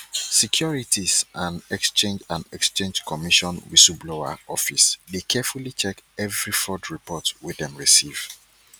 securities and exchange and exchange commission whistleblower office dey carefully check every fraud report wey dem receive